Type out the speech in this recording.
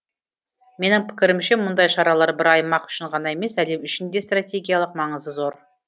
менің пікірімше мұндай шаралар бір аймақ үшін ғана емес әлем үшін де стратегиялық маңызы зор